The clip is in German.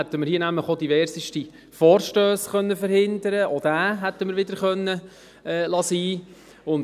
Damit hätten wir hier auch diverseste Vorstösse verhindern können, auch diesen hier hätten wir bleiben lassen können.